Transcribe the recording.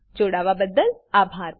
અમને જોડાવાબદ્દલ આભાર